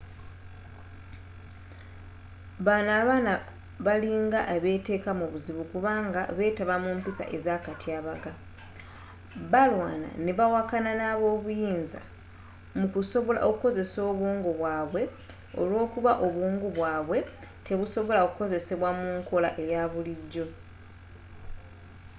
bano abaana balinga abeteeka mu buzibu kubanga betaba mu mpisa ezakatyabaga balwana ne bawakanya ab'obuyinza mu kusobola okukozesa obwongo bwabwe olwokuba obwongo bwabwe tebusobola kukozesebwa mu nkola eya bulijjo